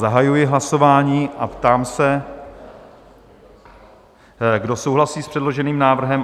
Zahajuji hlasování a ptám se, kdo souhlasí s předloženým návrhem?